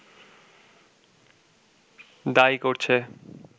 দায়ী করছে